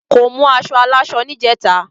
kò mú aṣọ aláṣọ ni ìjeta